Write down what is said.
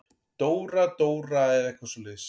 Dóra-Dóra eða eitthvað svoleiðis.